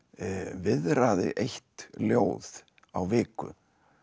viðraði eitt ljóð á viku